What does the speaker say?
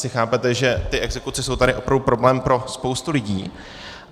Asi chápete, že ty exekuce jsou tady opravdu problém pro spoustu lidí.